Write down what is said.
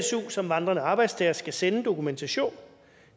su som vandrende arbejdstagere skal sende dokumentation